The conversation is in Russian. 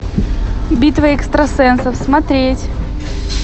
битва экстрасенсов смотреть